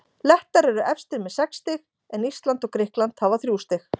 Lettar eru efstir með sex stig en Ísland og Grikkland hafa þrjú stig.